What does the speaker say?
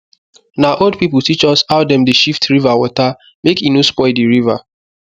na old old people teach us how dem dey shift river water make e no spoil di river